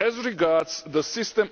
As regards the system